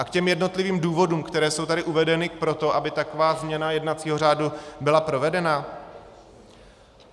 A k těm jednotlivým důvodům, které jsou tady uvedeny pro to, aby taková změna jednacího řádu byla provedena.